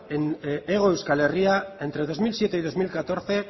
en hego euskal herria entre dos mil siete y dos mil catorce